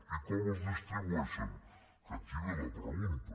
i com els distribueixen que aquí ve la pregunta